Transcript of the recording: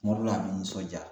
Kuma dɔ la a bɛ nisɔnja